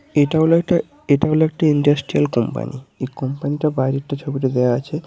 এটা হল একটা এটা হল একটা ইন্ডাস্ট্রিয়াল কোম্পানি এই কোম্পানিটা বাইরেরটা ছবিটা দেয়া আছে।